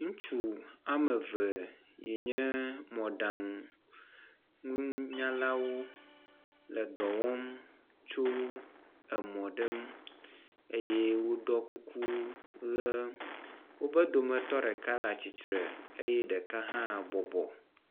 Ŋutsu ame eve yi nye mɔɖaŋu nunyalawo le dɔ wɔm tso emɔ ɖe ŋu eye woɖɔ kuku ʋe. Wobe dome dometɔ ɖeka le atsitre eye ɖeka hã bɔbɔ.